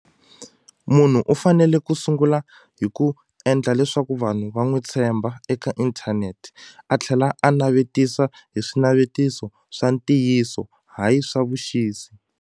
Munhu u fanele ku sungula hi ku endla leswaku vanhu va n'wi tshemba eka inthanete a tlhela a navetisa hi swinavetiso swa ntiyiso hayi swa vuxisi.